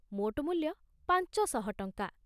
ମୋଟ ମୂଲ୍ୟ ପାଂଚ ଶହ ଟଂକା